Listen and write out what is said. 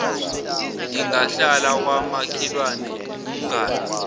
ingahlala kwamakhelwane umngane